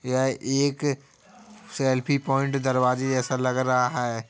यह एक selfie point दरवाजे जैसा लग रहा है।